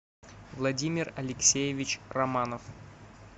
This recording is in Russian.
владимир алексеевич романов